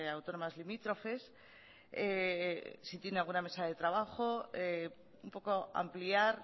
autónomas limítrofes si tiene alguna mesa de trabajo un poco ampliar